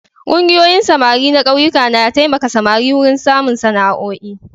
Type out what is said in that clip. Ƙungiyoyin samari na ƙauyuka na taimaka samari wurin samun sana'oi.